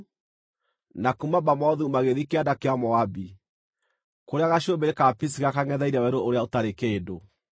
na kuuma Bamothu magĩthiĩ kĩanda kĩa Moabi, kũrĩa gacũmbĩrĩ ka Pisiga kangʼetheire werũ ũrĩa ũtarĩ kĩndũ.